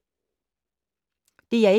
DR1